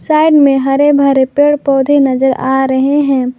Side में हरे भरे पेड़ पौधे नजर आ रहे हैं।